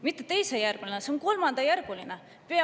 Mitte teisejärguline, vaid see on kolmandajärguline.